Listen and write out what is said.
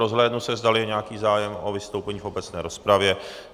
Rozhlédnu se, zdali je nějaký zájem o vystoupení v obecné rozpravě.